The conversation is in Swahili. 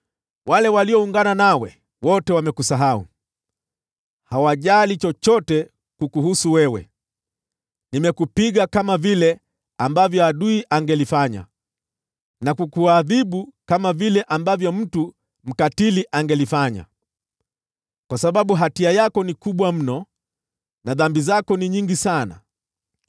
Wale walioungana nawe wote wamekusahau, hawajali chochote kukuhusu wewe. Nimekupiga kama vile adui angelifanya, na kukuadhibu kama vile mtu mkatili angelifanya, kwa sababu hatia yako ni kubwa mno na dhambi zako ni nyingi sana.